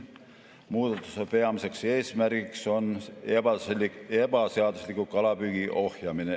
Muudatuse peamiseks eesmärgiks on ebaseadusliku kalapüügi ohjamine.